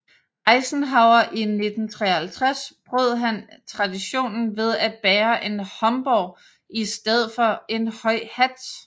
Eisenhower i 1953 brød han traditionen ved at bære en homburg i stedet for en høj hat